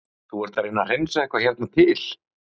Andri Ólafsson: Þú ert að reyna að hreinsa hérna eitthvað til?